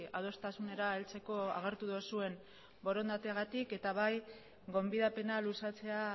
adostasunera heltzeko agertu duzuen borondateagatik eta bai gonbidapena luzatzea